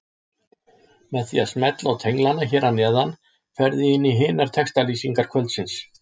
Með því að smella á tenglana hér að neðan ferðu í hinar textalýsingar kvöldsins.